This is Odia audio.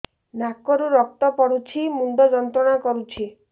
ନାକ ରୁ ରକ୍ତ ପଡ଼ୁଛି ମୁଣ୍ଡ ଯନ୍ତ୍ରଣା କରୁଛି